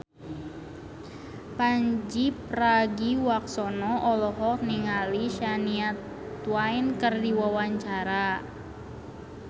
Pandji Pragiwaksono olohok ningali Shania Twain keur diwawancara